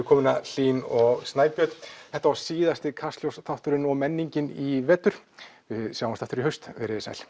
komuna Hlín og Snæbjörn þetta var síðasti Kastljós þátturinn og menningin í vetur við sjáumst aftur í haust verið þið sæl